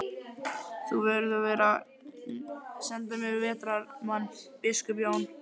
Þú verður að senda mér vetrarmann, biskup Jón.